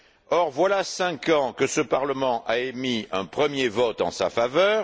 Or, voilà cinq ans que ce parlement a émis un premier vote en sa faveur.